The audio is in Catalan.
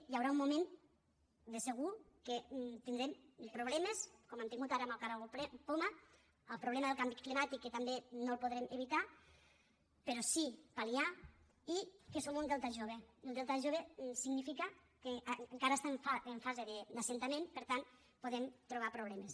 hi haurà un moment de segur que tindrem problemes com hem tingut ara amb el caragol poma el problema del canvi climàtic que tampoc no el podrem evitar però sí pal·liar i que som un delta jove i el delta jove significa que encara està en fase d’assentament per tant podem trobar problemes